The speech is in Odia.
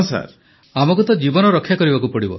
ପ୍ରଧାନମନ୍ତ୍ରୀ ଆମକୁ ତ ଜୀବନ ରକ୍ଷା କରିବାକୁ ପଡ଼ିବ